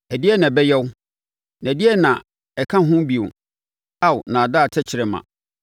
Ɛdeɛn na ɔbɛyɛ wo, na ɛdeɛn na ɛka ho bio, Ao nnaadaa tɛkrɛma?